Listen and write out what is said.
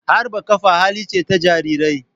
Harba kafa hali ce ta Jarirai.